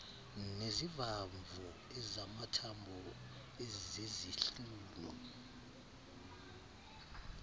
nezivamvo ezamathambo ezezihlunu